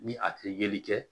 Ni a tɛ yeli kɛ